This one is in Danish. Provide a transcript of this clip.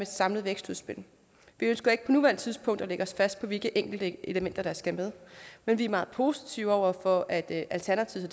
samlet vækstudspil vi ønsker ikke på nuværende tidspunkt at lægge os fast på hvilke enkelte elementer der skal med men vi er meget positive over for at alternativet